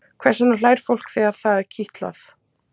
Hvers vegna hlær fólk þegar það er kitlað?